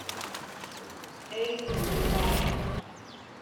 эль джубайль